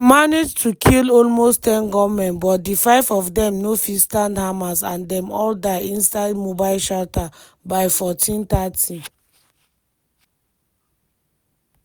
dem manage to kill almost ten gunmen but di five of dem no fit stand hamas and dem all die inside mobile shelter by14:30.